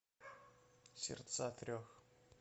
сердца трех